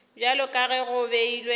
bjalo ka ge go beilwe